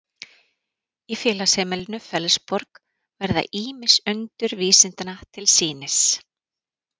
í félagsheimilinu fellsborg verða ýmis undur vísindanna til sýnis